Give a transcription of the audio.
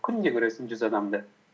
күнде көресің жүз адамды